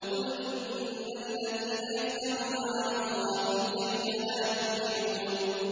قُلْ إِنَّ الَّذِينَ يَفْتَرُونَ عَلَى اللَّهِ الْكَذِبَ لَا يُفْلِحُونَ